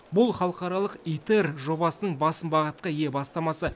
бұл халықаралық аитер жобасының басым бағытқа ие бастамасы